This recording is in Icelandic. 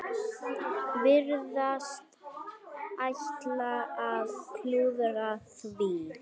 Virðast ætla að klúðra því.